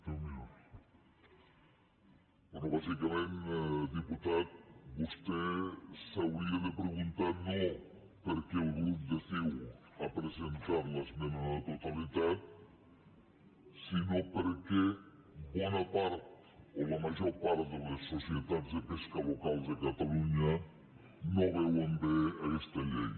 bé bàsicament diputat vostè s’hauria de preguntar no per què el grup de ciu ha presentat l’esmena a la totalitat sinó per què bona part o la major part de les societats de pesca local de catalunya no veuen bé aquesta llei